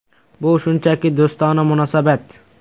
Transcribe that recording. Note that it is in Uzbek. “Bu shunchaki do‘stona munosabat”.